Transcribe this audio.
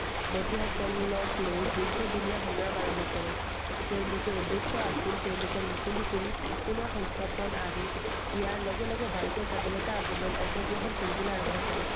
বন্ধুসকলক লৈ দীৰ্ঘদিনীয়া সংগ্ৰাম আৰম্ভ কৰে। তেওঁলোকৰ উদ্দেশ্য আছিল তেওঁলোকৰ মুকলি কৰি পুনৰ সংস্থাপন আৰু ইয়াৰ লগে লগে ভাৰতীয় স্বাধীনতা আন্দোলনৰ অংশগ্ৰহণ কৰিবলৈ আৰম্ভ কৰে।